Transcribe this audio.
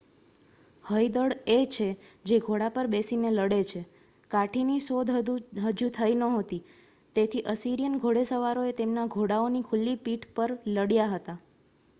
હયદળ એ છે જે ઘોડા પર બેસીને લડે છે કાઠીની શોધ હજી થઈ નહોતી તેથી અસિરિયન ઘોડેસવારોએ તેમના ઘોડાઓની ખુલ્લી પીઠ પર લડ્યા હતા